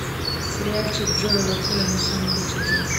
сериальчик джоэла коэна самый лучший день